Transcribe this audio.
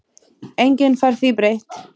Enginn fær því breytt.